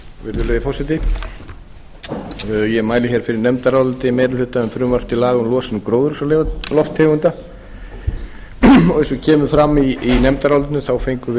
virðulegi forseti ég mæli hér fyrir nefndaráliti meiri hluta um frumvarp til laga um losun gróðurhúsalofttegunda eins og kemur fram í nefndarálitinu þá fengum